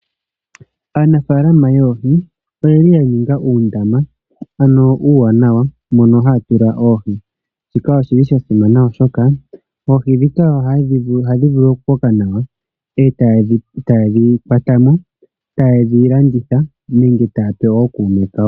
Aanafaalama yoohi oye li ya ninga uundama uuwanawa mono haya tula oohi. Shika oshi li sha simana molwashoka oohi ndhika ohadhi koko nawa, ta ye dhi kwata mo, ta ye dhi landitha nenge ya pe ookuume kawo.